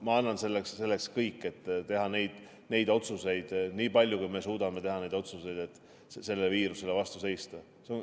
Ma annan selleks kõik, et teha neid otsuseid nii palju, kui me suudame teha, et viirusele vastu seista.